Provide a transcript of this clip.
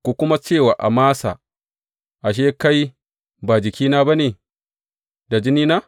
Ku kuma ce wa Amasa, Ashe, kai ba jikina ba ne da jinina?